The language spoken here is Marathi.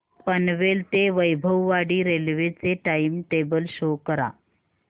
पनवेल ते वैभववाडी रेल्वे चे टाइम टेबल शो करा